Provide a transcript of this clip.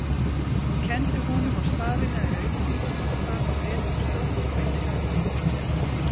Hún kenndi honum á stafina í auglýsingunum, þar var letrið stórt og innihaldið pottþétt